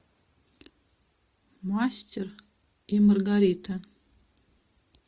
мастер и маргарита